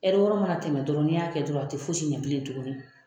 wɔɔrɔ ma na tɛmɛ dɔrɔn ni y'a kɛ dɔrɔn a te fosi ɲɛ bilen tuguni.